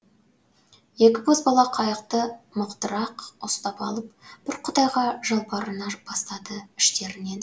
екі бозбала қайықты мықтырақ ұстап алып бір құдайға жалбарына бастады іштерінен